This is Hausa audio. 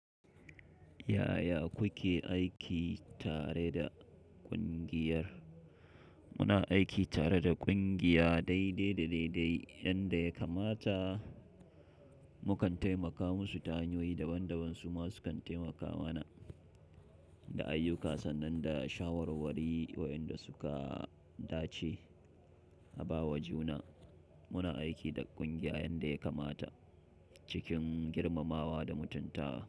Yaya kuke aiki tare da ƙungiyar? Muna aiki tare da ƙungiya daidai da daidai, yanda ya kamata. Mukan taimaka musu ta hanyoyi daban daban, su ma sukan taimaka mana da ayyuka sannan da shawarwari wayanda suka dace a bawa juna. Muna aiki da ƙungiya yanda ya kamata cikin girmamawa da mutunta.